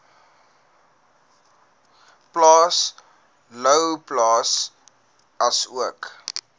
plaas louwplaas asook